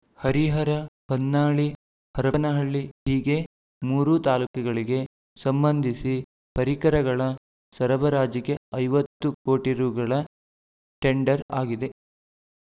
ಹರಿಹರ ಹೊನ್ನಾಳಿ ಹರಪನಹಳ್ಳಿ ಹೀಗೆ ಮೂರು ತಾಲೂಕುಗಳಿಗೆ ಸಂಬಂಧಿಸಿ ಪರಿಕರಗಳ ಸರಬರಾಜಿಗೆ ಐವತ್ತು ಕೋಟಿ ರೂಗಳ ಟೆಂಡರ್‌ ಆಗಿದೆ